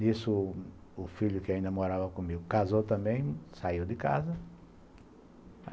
Nisso, o filho que ainda morava comigo casou também, saiu de casa.